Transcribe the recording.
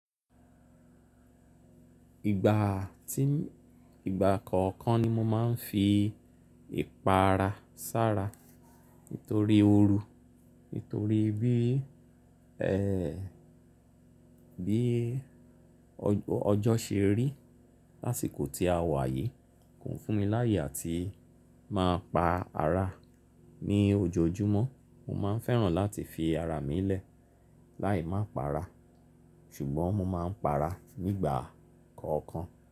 Ìgbà tí, ìgbà kọ̀ọ̀kan ni mo máa n fi ìpara sára nítorí ooru, nítorí bí, ẹ, bí ọjọ́ ṣe rí lásìkò tí a wà yìí kò fún mi láyè atí máa pa ara ní ojoojúmọ́. Mo máa n fẹ́ràn láti fi ara mi lẹ̀ láì má pa ara ṣùgbọ́n mo máa n pa ara nígbà kọ̀ọ̀kan.